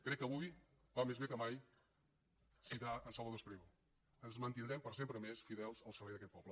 crec que avui va més bé que mai citar en salvador espriu ens mantindrem per sempre més fidels al servei d’aquest poble